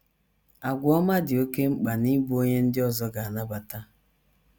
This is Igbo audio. Àgwà ọma “ dị oké mkpa n’ịbụ onye ndị ọzọ ga - anabata. ”